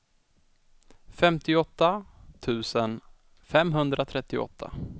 femtioåtta tusen femhundratrettioåtta